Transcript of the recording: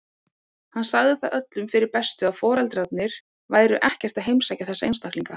Hann sagði það öllum fyrir bestu að foreldrarnir væru ekkert að heimsækja þessa einstaklinga.